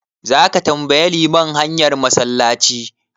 Zaka tambayi liman hanyar massalaci?